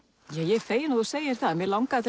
ég er fegin að þú segir það mig langaði